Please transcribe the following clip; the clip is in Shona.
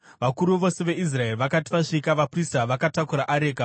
Vakuru vose veIsraeri vakati vasvika, vaprista vakatakura areka,